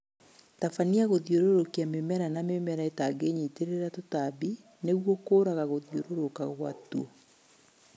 Tabania gũthiũrũrũkia mĩmera na mĩmera ĩtangĩnyitĩrĩra tũtambi nĩguo kũraga gũthiũrũrũka gwa tuo